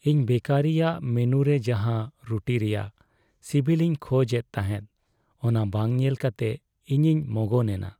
ᱤᱧ ᱵᱮᱠᱟᱨᱤᱼᱟᱜ ᱢᱮᱱᱩᱨᱮ ᱡᱟᱦᱟᱸ ᱨᱩᱴᱤ ᱨᱮᱭᱟᱜ ᱥᱤᱵᱤᱞ ᱤᱧ ᱠᱷᱚᱡᱽ ᱮᱫ ᱛᱟᱦᱮᱸᱫ ᱚᱱᱟ ᱵᱟᱝ ᱧᱮᱞ ᱠᱟᱛᱮ ᱤᱧᱤᱧ ᱢᱚᱜᱚᱱ ᱮᱱᱟ ᱾